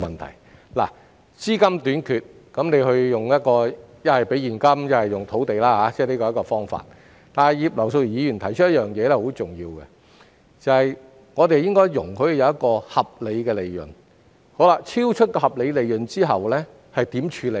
如果資金短缺，可以利用現金或土地解決，但葉劉淑儀議員提出了十分重要的一點，就是在容許合理利潤之餘，當超出合理利潤時該如何處理。